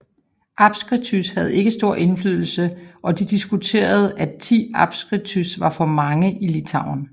Apskritys havde ikke stor indflydelse og det diskuteredes at 10 apskritys var for mange i Litauen